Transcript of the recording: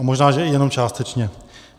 A možná že i jenom částečně.